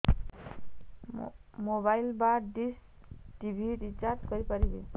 mobile ବା dish TV recharge କରି ପାରିବି